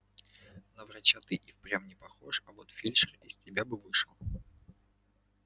на врача ты и впрямь не похож а вот фельдшер из тебя бы вышел